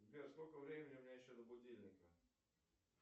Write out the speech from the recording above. сбер сколько времени у меня еще до будильника